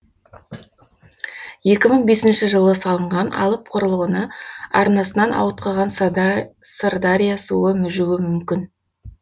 екі мың бесінші жылы салынған алып құрылғыны арнасынан ауытқыған сырдария суы мүжуі мүмкін